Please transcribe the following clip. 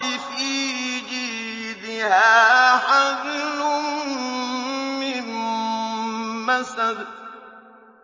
فِي جِيدِهَا حَبْلٌ مِّن مَّسَدٍ